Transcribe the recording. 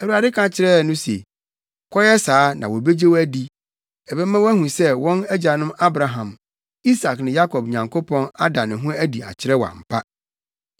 Awurade ka kyerɛɛ no se, “Kɔyɛ saa na wobegye wo adi. Ɛbɛma wɔahu sɛ wɔn agyanom Abraham, Isak ne Yakob Nyankopɔn ada ne ho adi akyerɛ wo ampa.”